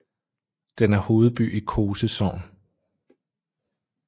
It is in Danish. Den er hovedby i Kose sogn